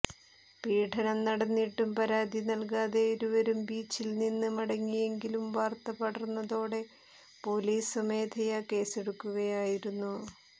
പീഡനം നടന്നിട്ടും പരാതി നൽകാതെ ഇരുവരും ബീച്ചില്നിന്ന് മടങ്ങിയെങ്കിലും വാർത്ത പടർന്നതോടെ പോലീസ് സ്വമേധയ കേസെടുക്കുകയായിരുന്നു